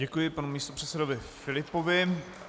Děkuji panu místopředsedovi Filipovi.